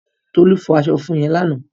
Tolú fọ aṣọ funfun yẹn lánàá.